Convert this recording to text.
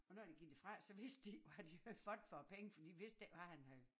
Og når de gik derfra så vidste de ikke hvad de havde fået for æ penge for de vidste ikke hvad han havde